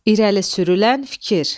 İrəli sürülən fikir.